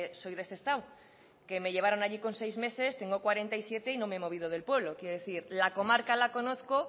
soy de sestao que me llevaron allí con seis meses tengo cuarenta y siete y no me he movido del pueblo quiero decir la comarca la conozco